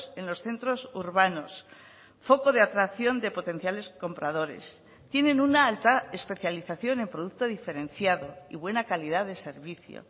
en los centros urbanos foco de atracción de potenciales compradores tienen una alta especialización en producto diferenciado y buena calidad de servicio